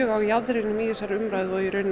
á jaðrinum í þessari umræðu og í raun